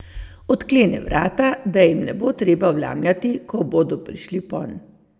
Odklene vrata, da jim ne bo treba vlamljati, ko bodo prišli ponj.